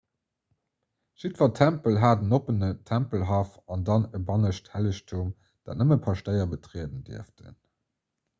jiddwer tempel hat en oppenen tempelhaff an dann e bannescht hellegtum dat nëmmen d'paschtéier betrieden dierften